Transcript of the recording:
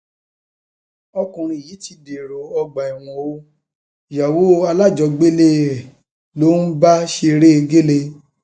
ọkùnrin yìí ti dèrò ọgbà ẹwọn o ìyàwó alájọgbélé ẹ ló ń bá ṣeré gẹlẹ